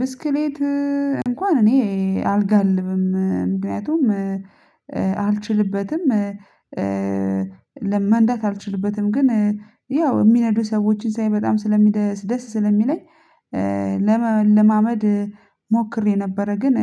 ብስክሌት እንኳን እኔ አልጋልብም። ምክንያቱም አልችልበትም። ለ መንዳት አልችልበትም። ግን ያው የሚነዱ ሰዎችን ሳይ በጣም ስለሚደ ደስ ስለሚለኝ፤ ለመ ለማመድ ሞክሬ ነበረ። ግን